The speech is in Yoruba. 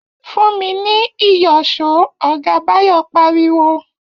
Fún mi ní ìyọ̀ṣó!, ọ̀gá Báyọ̀ pariwo